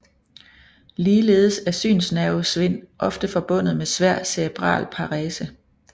Ligeledes er synsnervesvind ofte forbundet med svær cerebral parese